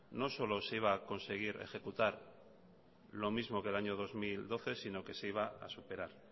no solo se iba a conseguir ejecutar lo mismo que el año dos mil doce sino que se iba a superar